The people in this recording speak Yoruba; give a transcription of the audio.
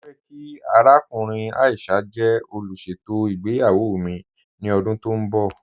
Mọ fẹ̀ kí àràkùnrìn Aisha jẹ́ olúṣetò ìgbéyàwó mi ni ọdún tó nbọ̀.